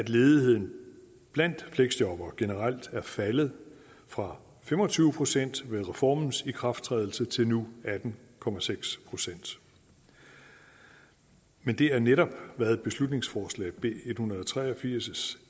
ledigheden blandt fleksjobbere er generelt faldet fra fem og tyve procent ved reformens ikrafttrædelse til nu atten procent procent men det er netop hvad i beslutningsforslag b en hundrede og tre og firs